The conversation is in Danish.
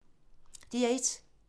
DR1